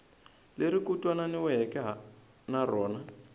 leri ku twananiweke na rona